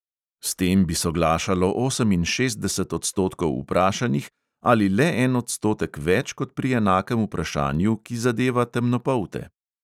S tem bi soglašalo oseminšestdeset odstotkov vprašanih ali le en odstotek več kot pri enakem vprašanju, ki zadeva temnopolte.